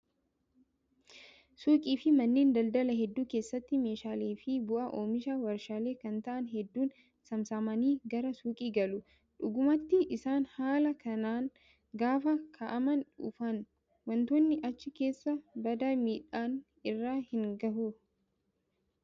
Suuqii fi manneen daldalaa hedduu keessatti meeshaalee fi bu'aa oomisha waarshaalee kan ta'an hedduun saamsamanii gara suuqii galu. Dhugumatti isaan haala kanaan gaafa kaa'amanii dhufan wantoonni achi keessaa badaa miidhaan irra hin gahu.